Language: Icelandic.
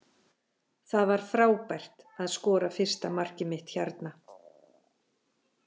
Það var frábært að skora fyrsta markið mitt hérna.